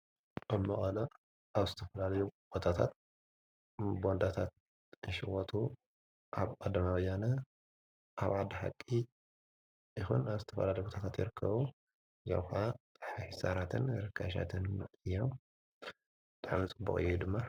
ኣብ መቐለ ኣብ ዝተፈላለዩ ቦታታት ቦንዳታት ክሽወጡ ኣብ ቀዳማይ ወያነ ኣብ ዓዲ ሓቂ ይኩን ኣብ ዝተፈላለዩ ቦታታት ይርከቡ። ሕሳራትን ርካሻትን እዩም ዳሓን ፅቡቅ እዩ ድማ።